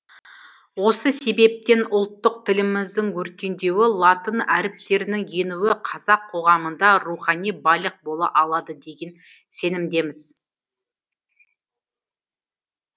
осы себептен ұлттық тіліміздің өркендеуі латын әріптерінің енуі қазақ қоғамында рухани байлық бола алады деген сенімдеміз